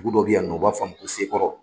Dugu dɔ bɛ yan nɔ o b'a f'a ma ko sekɔrɔ.